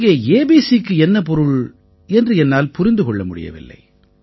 இங்கே ABCக்கு என்ன பொருள் என்று என்னால் புரிந்து கொள்ள முடியவில்லை